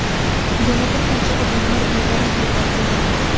Yana bir qancha odamlar bedarak yo‘qolgan.